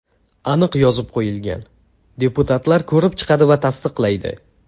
Aniq yozib qo‘yilgan: deputatlar ko‘rib chiqadi va tasdiqlaydi.